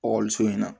Ɔkɔliso in na